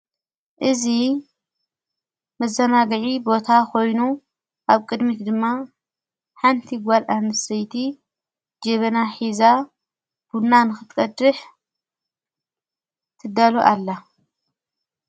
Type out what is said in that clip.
እዙ መዘናግዒ ቦታ ኾይኑ ኣብ ቅድሚት ድማ ሓንቲ ጓል ኣምሰይቲ ጀብና ኂዛ ቡናንኽትቀድሕ ትደሎ ኣላ።